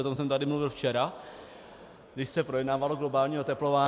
O tom jsem tady mluvil včera, když se projednávalo globální oteplování -